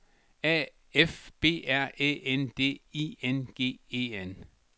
A F B R Æ N D I N G E N